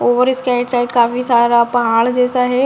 और इसके right side काफी सारा पहाड़ जैसा है |